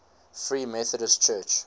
free methodist church